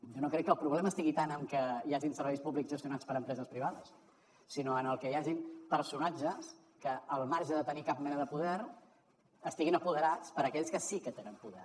jo no crec que el problema estigui tant en que hi hagin serveis públics gestionats per empreses privades sinó en que hi hagin personatges que al marge de tenir cap mena de poder estiguin apoderats per aquells que sí que tenen poder